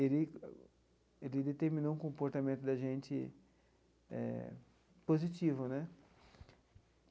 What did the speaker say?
ele ele determinou um comportamento da gente eh positivo, né?